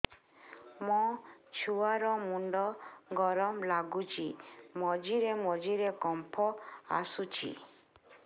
ମୋ ଛୁଆ ର ମୁଣ୍ଡ ଗରମ ଲାଗୁଚି ମଝିରେ ମଝିରେ କମ୍ପ ଆସୁଛି